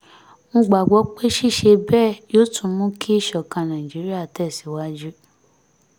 mo gbàgbọ́ pé ṣíṣe bẹ́ẹ̀ yóò tún mú kí ìṣọ̀kan nàìjíríà tẹ̀síwájú